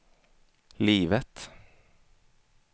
livet